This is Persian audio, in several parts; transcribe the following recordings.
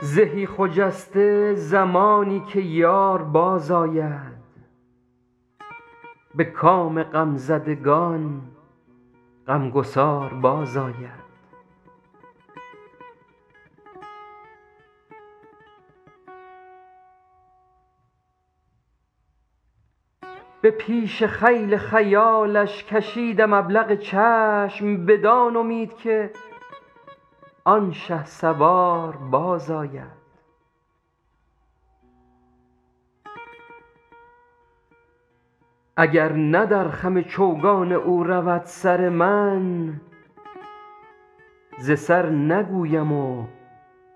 زهی خجسته زمانی که یار بازآید به کام غمزدگان غمگسار بازآید به پیش خیل خیالش کشیدم ابلق چشم بدان امید که آن شهسوار بازآید اگر نه در خم چوگان او رود سر من ز سر نگویم و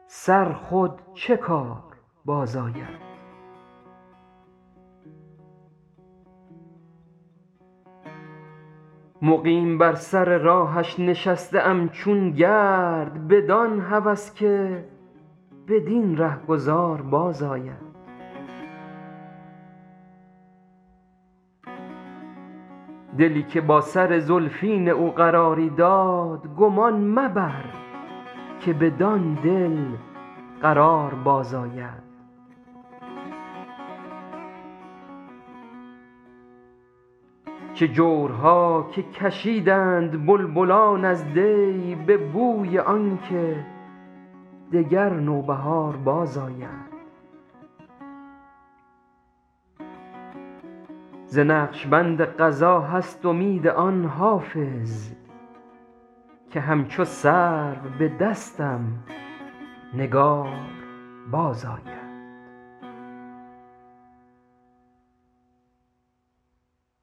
سر خود چه کار بازآید مقیم بر سر راهش نشسته ام چون گرد بدان هوس که بدین رهگذار بازآید دلی که با سر زلفین او قراری داد گمان مبر که بدان دل قرار بازآید چه جورها که کشیدند بلبلان از دی به بوی آن که دگر نوبهار بازآید ز نقش بند قضا هست امید آن حافظ که همچو سرو به دستم نگار بازآید